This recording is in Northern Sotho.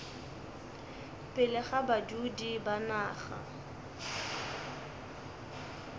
pele ga badudi ba naga